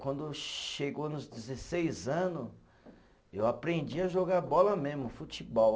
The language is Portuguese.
Quando chegou nos dezesseis anos, eu aprendi a jogar bola mesmo, futebol.